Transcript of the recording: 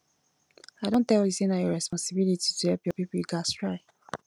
i don tell you sey na your responsibility to help your pipo you gats try